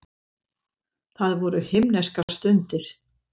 Það voru himneskar stundir.